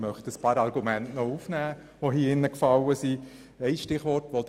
Ich möchte ein paar Argumente aufgreifen, die hier genannt wurden.